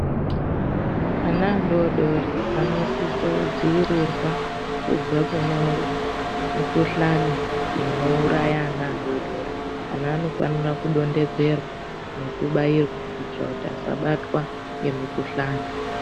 Ana adoridori anosise kudziirirwa kubve kune mikhuhlani inouraya ana adodori, ana anofanira kudonhedzerwa nekubairwa kuitira kuti asabatwa ngemikhuhlani.